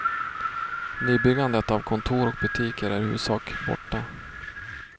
Nybyggandet av kontor och butiker är i huvudsak borta.